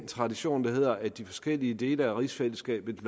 tradition der at de forskellige dele af rigsfællesskabet